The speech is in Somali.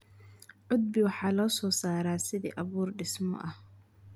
Cudbi waxaa loo soo saaraa sidii abuur dhismo ah.